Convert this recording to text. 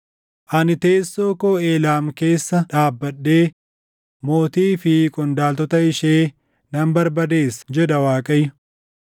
“Ani teessoo koo Eelaam keessa dhaabbadhee mootii fi qondaaltota ishee nan barbadeessa” jedha Waaqayyo.